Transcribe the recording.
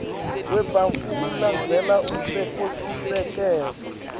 webantfu ulandzela umtsetfosisekelo